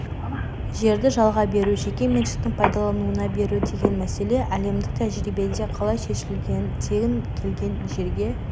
жерді жалға беру жеке меншіктің пайдалануына беру деген мәселе әлемдік тәжірибеде қалай шешілген тегін келген жерге